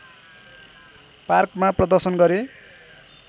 पार्कमा प्रदर्शन गरे